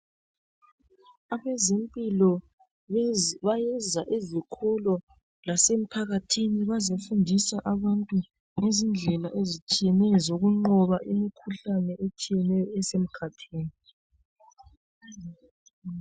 Abezempilo bayeza ezikolo lasemphakathini bazefundisa abantu ngezindlela ezitshiyeneyo zokunqoba imikhuhlane etshiyeneyo esemkhathini.